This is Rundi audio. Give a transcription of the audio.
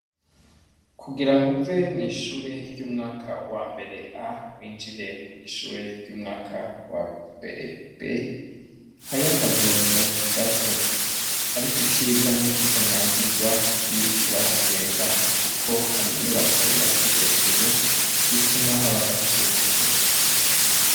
Kugira ngo uve mw’ishure ry’umwaka wambere A winjire mw’ishure ry’umwaka wambere B, hariyo akagendo gato ariko iciza nuko utanyagigwa iyo uriko urahagenda kuko hari inyubako yubatse hejuru ituma haba agatutu.